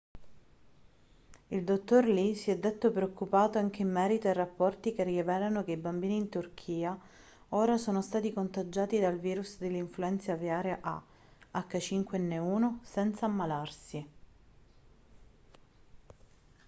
il dottor lee si è detto preoccupato anche in merito ai rapporti che rivelano che i bambini in turchia ora sono stati contagiati dal virus dell'influenza aviaria ah5n1 senza ammalarsi